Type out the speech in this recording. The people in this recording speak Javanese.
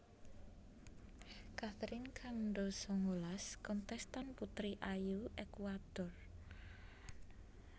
Catherine Cando sangalas kontèstan putri ayu Ékuador